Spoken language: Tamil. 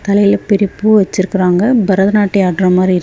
தலையில பெரிய பூ வச்சிருக்குறாங்க பரதநாட்டியோ ஆடுர மாரி இருக்கு.